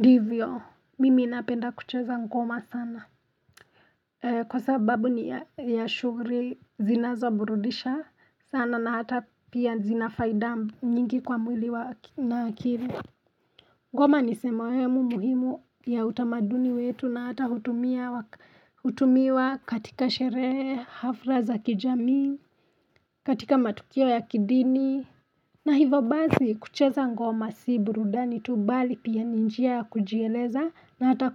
Ndivyo mimi napenda kucheza ngoma sana kwa sababu ni ya shughuli zinazoburudisha sana na hata pia zina faida nyingi kwa mwili na akili ngoma ni sehemu muhimu ya utamaduni wetu na hata hutumiwa katika sherehe hafla za kijamii katika matukio ya kidini na hivyo basi kucheza ngoma si burudani tu bali pia ni njia ya kujieleza na hata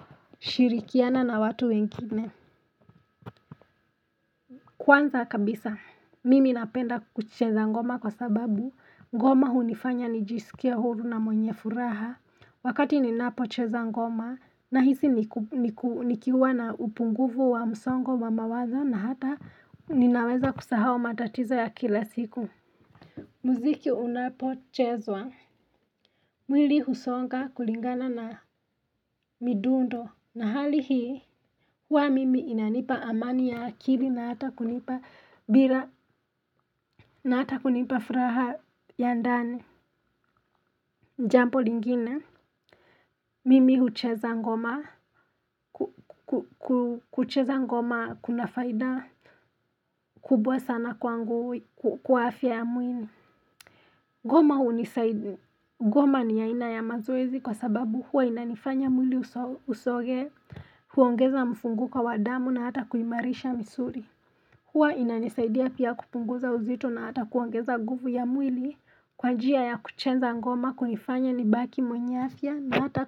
kushirikiana na watu wengine. Kwanza kabisa, mimi napenda kucheza ngoma kwa sababu ngoma hunifanya nijisikie huru na mwenye furaha. Wakati ninapocheza ngoma na hizi nikiwa na upungufu wa msongo wa mawazo na hata ninaweza kusahau matatizo ya kila siku. Mziki unapochezwa. Mwili husonga kulingana na midundo. Na hali hii huwa mimi inanipa amani ya akili na hata kunipa bila na hata kunipa furaha ya ndani. Jambo lingine, mimi hucheza ngoma, kucheza ngoma kuna faida kubwa sana kwangu kwa afya ya mwili. Ngoma ni aina ya mazoezi kwa sababu huwa inanifanya mwili usogee, huongeza mfunguko wa damu na hata kuimarisha misuli. Huwa inanisaidia pia kupunguza uzito na hata kuongeza nguvu ya mwili kwa njia ya kucheza ngoma kunifanya nibaki mwenye afya na hata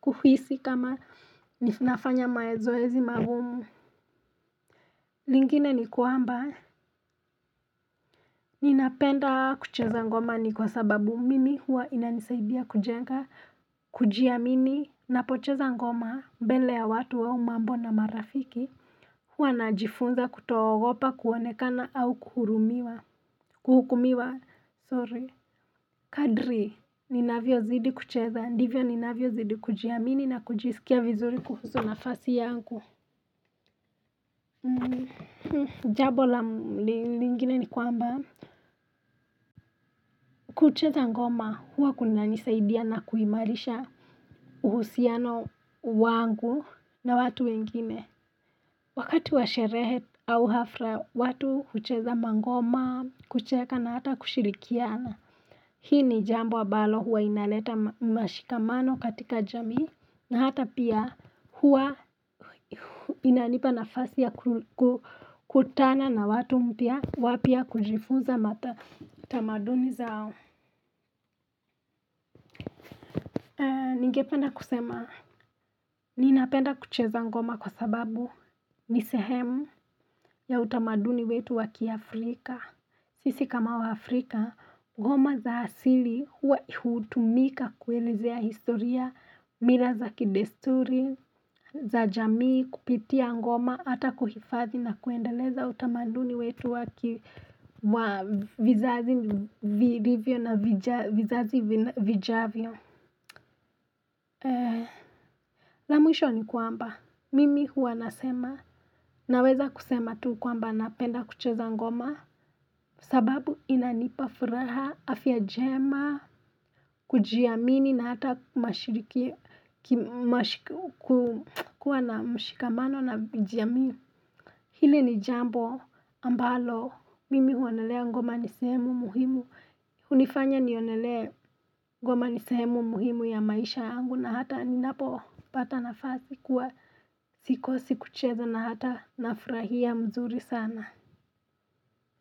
kuhisi kama nafanya mazoezi magumu. Lingine ni kwamba, ninapenda kucheza ngoma ni kwa sababu mimi huwa inanisaidia kujenga, kujiamini, napocheza ngoma mbele ya watu au mambo na marafiki. Huwa najifunza kutoogopa kuonekana au kuhurumiwa, kuhukumiwa, sorry, kadri, ninavyozidi kucheza, ndivyo ninavyozidi kujiamini na kujisikia vizuri kuhusu nafasi yangu. Jambo lingine ni kwamba, kucheza ngoma, huwa kunanisaidia na kuimarisha uhusiano wangu na watu wengine. Wakati wa sherehe au hafla watu hucheza mangoma kucheka na hata kushirikiana Hii ni jambo ambalo huwa inaleta mashikamano katika jamii na hata pia huwa inanipa nafasi ya kukutana na watu mpya wapya kujifunza matamaduni zao Ningependa kusema ninapenda kucheza ngoma kwa sababu ni sehemu ya utamaduni wetu wa kiafrika, Sisi kama waafrika, ngoma za asili hutumika kuelezea historia, mila za kidesturi, za jamii, kupitia ngoma, hata kuhifadhi na kuendeleza utamaduni wetu wa vizazi vijavyo. La mwisho ni kwamba, mimi huwa nasema, naweza kusema tu kwamba napenda kucheza ngoma sababu inanipa furaha, afya njema, kujiamini na hata mashiriki, kuwa na mshikamano na kujiamini. Hili ni jambo ambalo, mimi huonelea ngoma ni sehemu muhimu hunifanya nionelee ngoma ni sehemu muhimu ya maisha yangu na hata ninapopata nafasi kuwa sikosi kucheza na hata nafurahia mzuri sana.